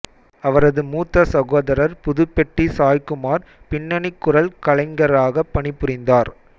அவரது மூத்த சகோதரர் புதிபெட்டி சாய்குமார் பின்னனிக் குரல் கலைஞராகப் பணிபுரிந்தார்